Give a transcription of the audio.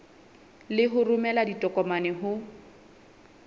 le ho romela ditokomane ho